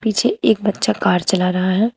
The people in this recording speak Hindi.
पीछे एक बच्चा कार चला रहा है।